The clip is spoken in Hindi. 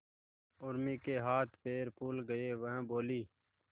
उर्मी के हाथ पैर फूल गए वह बोली